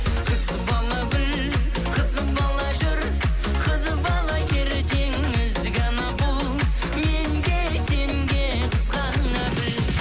қыз бала гүл қыз бала жүр қыз бала ертең ізгі ана бұл мен де сен де қызғана біл